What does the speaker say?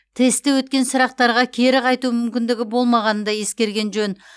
тестте өткен сұрақтарға кері қайту мүмкіндігі болмағанын да ескерген жөн